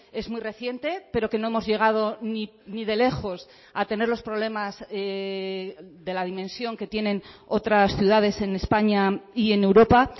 es muy reciente pero que no hemos llegado ni de lejos a tener los problemas de la dimensión que tienen otras ciudades en españa y en europa